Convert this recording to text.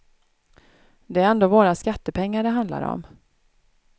Det är ändå våra skattepengar det handlar om.